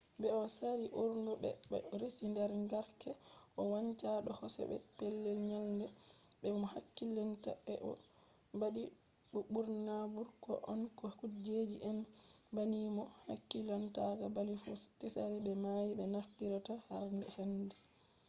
be’i sare ɓurna ɓe ɗo resi der garke ɗo wancha do hoseji be pellel nyalde be mo hakkilinta ɓe ɗo ɓadi bo ɓurna ɓukkoi on ko sukaje en banni bo mo hakkilinta bali fu. tsari be mai ɓe naftirta har hande